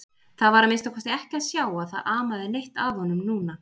Það var að minnsta kosti ekki að sjá að það amaði neitt að honum núna.